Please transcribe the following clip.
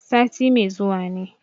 Sati mai zuwa ne.